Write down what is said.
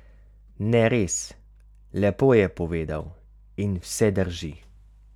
Ne res, lepo je povedal in vse drži.